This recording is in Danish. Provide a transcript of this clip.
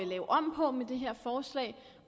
lave om på med det her forslag